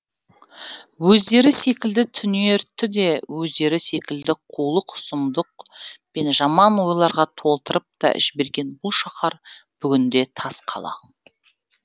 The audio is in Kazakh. өздері секілді түнертті де өздері секілді қулық сұмдық пен жаман ойларға толтырып та жіберген бұл шаһар бүгінде тасқала